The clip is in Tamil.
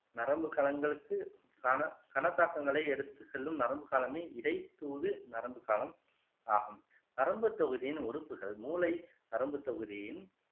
நரம்பு களன்களுக்கு கான கனதாக்கங்களை எடுத்துச் செல்லும் நரம்பு களமே இடைத்தூது நரம்புக் களம் ஆகும் நரம்புத் தொகுதியின் உறுப்புகள் மூளை நரம்புத் தொகுதியின்